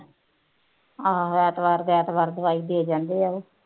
ਆਹੋ ਐਤਵਾਰ ਦੇ ਐਤਵਾਰ ਦਵਾਈ ਦੇ ਜਾਂਦੇ ਆ ਉਹ